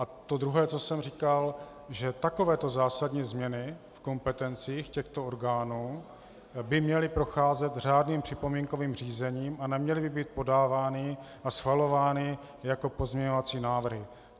A to druhé, co jsem říkal, že takovéto zásadní změny v kompetencích těchto orgánů by měly procházet řádným připomínkovým řízením a neměly by být podávány a schvalovány jako pozměňovací návrhy.